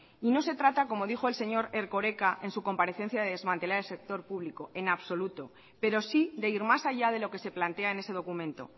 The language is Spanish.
y no se trata como dijo el señor erkoreka en su comparecencia de desmantelar el sector público en absoluto pero sí de ir más allá de lo que se plantea en ese documento